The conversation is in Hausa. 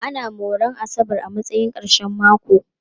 Ana moran asabar a matsayin ƙarshen mako.